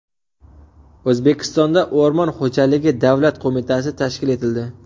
O‘zbekistonda O‘rmon xo‘jaligi davlat qo‘mitasi tashkil etildi.